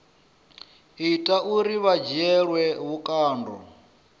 ita uri vha dzhielwe vhukando